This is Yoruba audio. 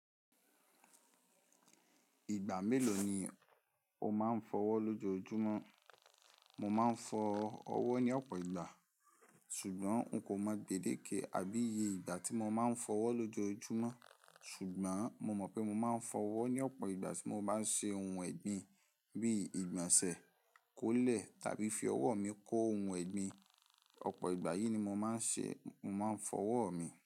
Ìgbà mélòó ni o máa ń fọ ọwọ́ lójoojúmọ́? Mo máa ń fọ ọwọ́ ní ọ̀pọ̀ ìgbà, ṣùgbọ́n n kò mọ gbèdéke àbí iye ìgbà tí mo máa ń fọ ọwọ́ lójoojúmọ́. Ṣùgbọ́n mo mọ̀ pé mo máa ń fọ ọwọ́ ní ọ̀pọ̀ ìgbà tí mo bá ń ṣe ohun ẹ̀gbin, bíi ìgbọ̀nsẹ̀, kólẹ̀, tàbí fi ọwọ́ mi kó ohun ẹ̀gbin. Ọ̀pọ̀ ìgbà yìí ni mo máa ń ṣe, mo máa ń fọ ọwọ́ mi.